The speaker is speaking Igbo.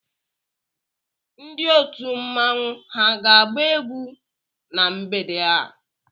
Ndị otu mmanwu ha ga-agba egwu na mgbede a?